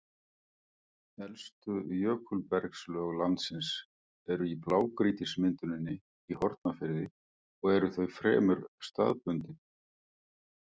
Elstu jökulbergslög landsins eru í blágrýtismynduninni í Hornafirði og eru þau fremur staðbundin.